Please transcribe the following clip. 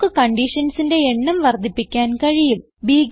നമുക്ക് conditionsന്റെ എണ്ണം വർദ്ധിപ്പിക്കാൻ കഴിയും